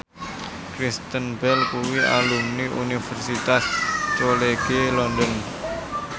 Kristen Bell kuwi alumni Universitas College London